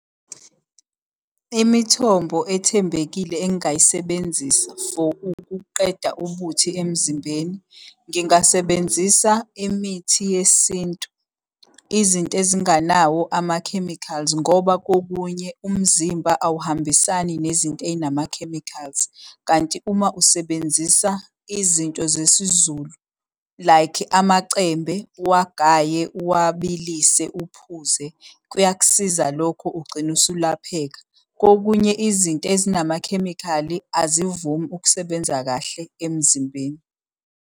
Imithombo ethembekile engingayisebenzisa for ukuqeda ubuthi emzimbeni. Ngingasebenzisa imithi yesintu, izinto ezinganawo amakhemikhali ngoba kokunye umzimba awuhambisani nezinto ey'namakhemikhali. Kanti uma usebenzisa izinto zesizulu, like amacembe uwagaye, uwabilise, uphuze, kuyakusiza lokho ugcine usulapheka. Kokunye izinto ezinamakhemikhali azivumi ukusebenza kahle emzimbeni.